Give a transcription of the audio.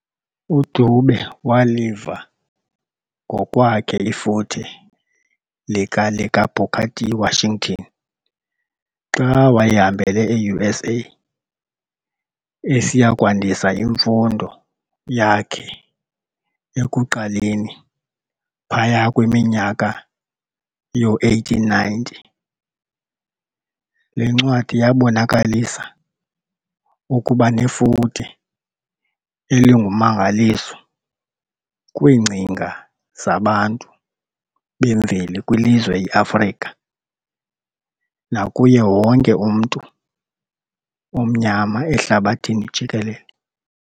UDube waliva ngokwakhe ifuthe lika likaBooker T. Washington xa wayehambele e-USA esiyakwandisa imfundo yakhe ekuqaleni phaya kwiminyaka yoo-1890. Le ncwadi yaabonakalisa ukuba nefuthe elingummangaliso kwiingcinga zaBantu bemveli kwilizwe i-Afrika, nakuye wonke umntu omnyama ehlabathini jikelele.